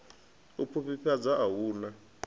u pfufhifhadza a hu na